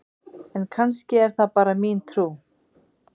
en kannski er það bara mín trú!